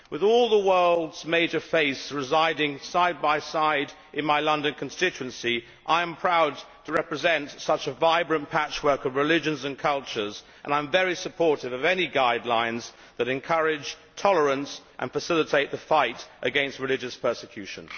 With all the world's major faiths residing side by side in my London constituency, I am proud to represent such a vibrant patchwork of religions and cultures and I am very supportive of any guidelines that encourage tolerance and facilitate the fight against religious persecution.